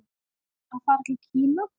Að fara til Kína?